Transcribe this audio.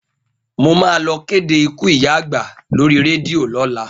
Mo máa lọ kéde ikú ìyá àgbà lórí rédíò lọ́la.